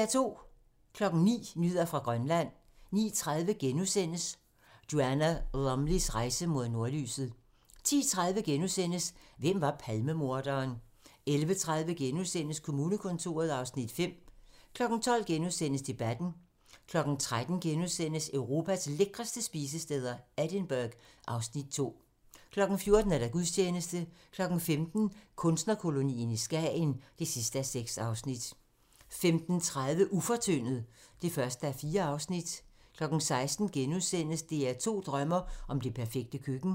09:00: Nyheder fra Grønland 09:30: Joanna Lumleys rejse mod nordlyset * 10:30: Hvem var Palmemorderen? * 11:30: Kommunekontoret (Afs. 5)* 12:00: Debatten * 13:00: Europas lækreste spisesteder - Edinburgh (Afs. 2)* 14:00: Gudstjeneste 15:00: Kunstnerkolonien i Skagen (6:6) 15:30: Ufortyndet (1:4) 16:00: DR2 drømmer om det perfekte køkken *